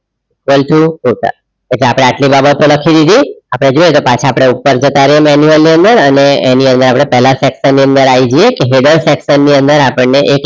control cota આપણે આટલી બાબતો લખી દીધી આપણે જોઇએ કે પાછા આપણે ઉપર જતા રહીએ એની અંદર અને એની અંદર આપણે પહેલા section ની અંદર આવી જઈએ header section ની અંદર આપણને એક label add કરવું છે.